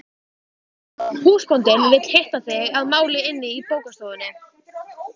Húsbóndinn vill hitta þig að máli inni í bókastofunni.